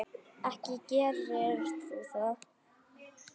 Ekki gerir þú það!